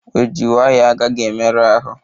Ojii nwayọ agaghi emeru ahụ